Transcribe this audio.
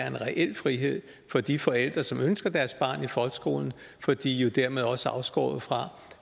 en reel frihed for de forældre som ønsker deres barn i folkeskolen for de er jo dermed også afskåret fra